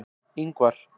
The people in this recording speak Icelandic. Ingvar